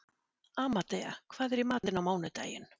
Amadea, hvað er í matinn á mánudaginn?